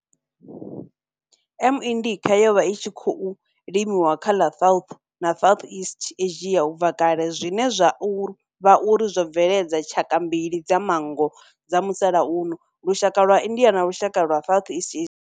M. indica yo vha i tshi khou limiwa kha ḽa South na Southeast Asia ubva kale zwine zwa vha uri zwo bveledza tshaka mbili dza manngo dza musalauno, lushaka lwa India na lushaka lwa Southeast Asia.